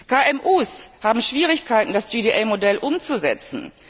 KMU haben Schwierigkeiten, das GDA Modell umzusetzen.